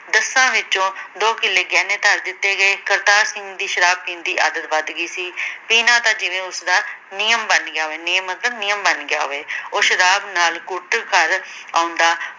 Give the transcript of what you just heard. ਦੱਸਾਂ ਵਿਚੋਂ ਦੋ ਕਿੱਲੇ ਗਹਿਣੇ ਧਰ ਦਿੱਤੇ ਗਏ ਕਰਤਾਰ ਸਿੰਘ ਦੀ ਸ਼ਰਾਬ ਪੀਣ ਦੀ ਆਦਤ ਵੱਧ ਗਈ ਸੀ ਪੀਨਾ ਤਾਂ ਜਿਵੇਂ ਉਸਦਾ ਨਿਯਮ ਬਨ ਗਿਆ ਹੋਵੇ, ਨਿਯਮ ਮਤਲਬ ਨਿਯਮ ਬਨ ਗਿਆ ਹੋਵੇ ਉਹ ਸ਼ਰਾਬ ਨਾਲ ਕੁੱਟ ਕਰ ਆਉਂਦਾ